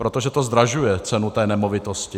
Protože to zdražuje cenu té nemovitosti.